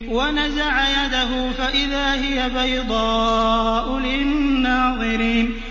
وَنَزَعَ يَدَهُ فَإِذَا هِيَ بَيْضَاءُ لِلنَّاظِرِينَ